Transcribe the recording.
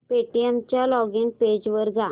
Paytm च्या login page वर जा